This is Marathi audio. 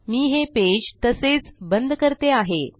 मी हे पेज तसेच बंद करतो आहे